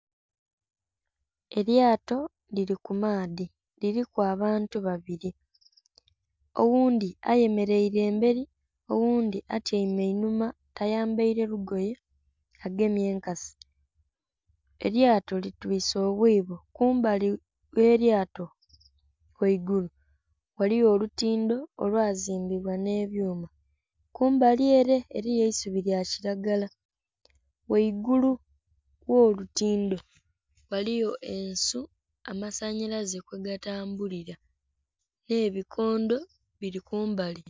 Elyato lili ku maadhi liliku abantu babiri oghundhi ayemereire emberi oghundhi atyaime inhuma tayambaire ligoye agemye enkasi. elyato litwse obwibo, kumbali ghe lyato ghaigulu ghalgho olutindho olwazimbibwa nhe byuma, kumbai ere eriyo eisubi lya kilagala, ghaigulu gho lutindho ghaliyo ensuu amasanhalaze kwe ga tambulila nhe bikondho bli kumbali.